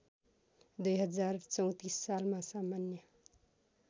२०३४ सालमा सामान्य